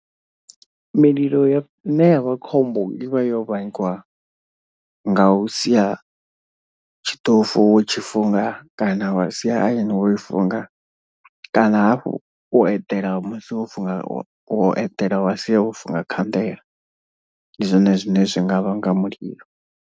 Mililo ya ine yavha khombo i vha yo vhangiwa nga u sia tshiṱofu wo tshi funga. Kana wa sia iron wo i funga kana hafhu u eḓela musi wo funga wa u eḓela wa sia wo funga khanḓela, ndi zwone zwine zwi nga vhanga mulilo.